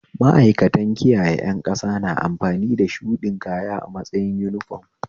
Ma'aikanta kiyaye ƴan ƙasa na amfani da shuɗin kaya a matsayin uniform